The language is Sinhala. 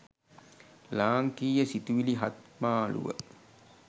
ලාංකීය සිතුවිලි හත්මාලුව